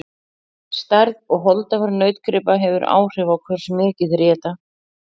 stærð og holdafar nautgripa hefur áhrif á hversu mikið þeir éta